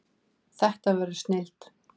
Þetta verður snilld